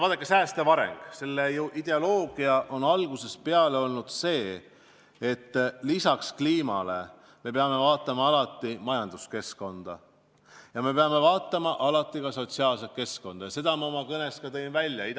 Vaadake, säästva arengu ideoloogia on ju algusest peale olnud see, et lisaks kliimale me peame vaatama alati majanduskeskkonda, me peame vaatama alati ka sotsiaalset keskkonda, ja seda ma oma kõnes ka välja tõin.